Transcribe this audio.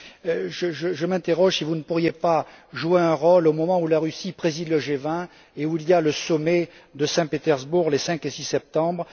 Alors, je me demande si vous ne pourriez pas jouer un rôle au moment où la Russie préside le G 20 et où se tient le sommet de Saint Pétersbourg, les 5 et 6 septembre.